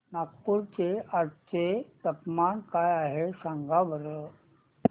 नागपूर चे आज चे तापमान काय आहे सांगा बरं